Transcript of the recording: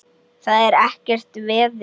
Það er ekkert veður.